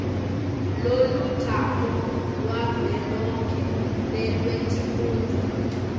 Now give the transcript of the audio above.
lolutako lwavelonkhe nelwetifundza